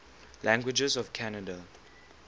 languages of canada